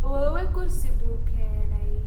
Awoowe kursi buu keenay